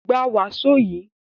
Gba wàsó yìí!